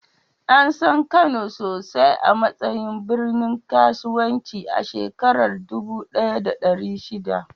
An san Kano sosai a matsayin birnin kasuwanci a shekarar dubu ɗaya da ɗari shida.